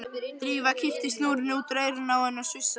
Drífa kippti snúrunni út úr eyranu á henni og sussaði.